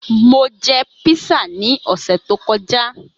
Mo jẹ písà ni ọsẹ to kọja.